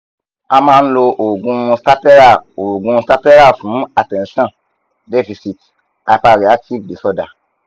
a ma n lo oogun stattera oogun stattera fun attension deficit hyperactive disorder